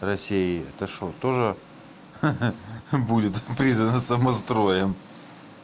россии это что тоже ха-ха будет признано самостроем